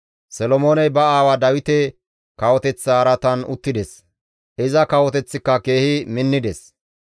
Solomooney ba aawa Dawite kawoteththa araatan uttides; iza kawoteththika keehi minnides.